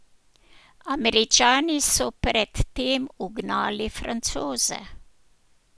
Američani so pred tem ugnali Francoze.